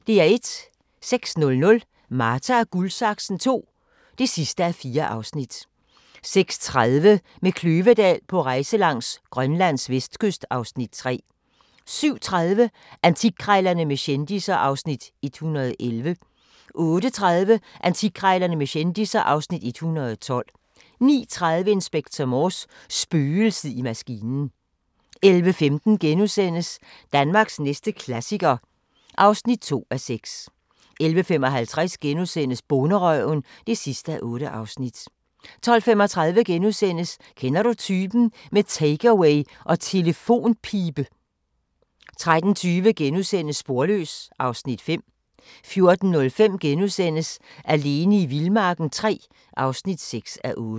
06:00: Marta & Guldsaksen II (4:4) 06:30: Med Kløvedal på rejse langs Grønlands vestkyst (Afs. 3) 07:30: Antikkrejlerne med kendisser (Afs. 111) 08:30: Antikkrejlerne med kendisser (Afs. 112) 09:30: Inspector Morse: Spøgelset i maskinen 11:15: Danmarks næste klassiker (2:6)* 11:55: Bonderøven (8:8)* 12:35: Kender du typen? – med take-away og telefonpibe * 13:20: Sporløs (Afs. 5)* 14:05: Alene i vildmarken III (6:8)*